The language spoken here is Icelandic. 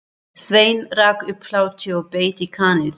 Sveinn rak upp hlátur og beit í kanilsnúð.